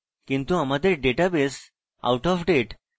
কিন্তু আমাদের database outofdate